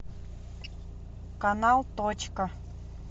канал точка